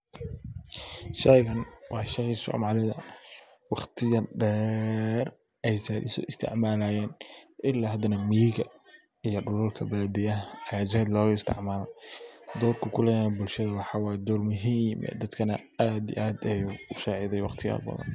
Sheygan waa sheey somalida waqti dher ay zaid uso isticmalayen, ila hadana miyiga iyo dhulka baadiya ayaa zaid loga isticmala. Dhorku kuleyahay bulshada waa dhoor aad muhim u ah zaid u sacideyey in badan.